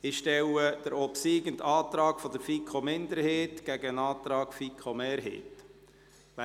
Ich stelle den obsiegenden Antrag der FiKo-Minderheit dem Antrag der FiKo-Mehrheit gegenüber.